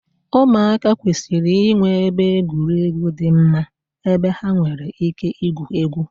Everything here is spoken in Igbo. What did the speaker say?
ụmụaka kwesịrị inwe ebe egwuregwu dị mma ebe ha nwere ike igwu egwu